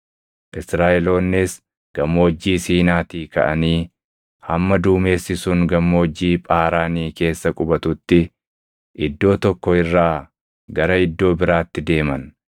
Israaʼeloonnis Gammoojjii Siinaatii kaʼanii hamma duumessi sun Gammoojjii Phaaraanii keessa qubatutti iddoo tokko irraa gara iddoo biraatti deeman.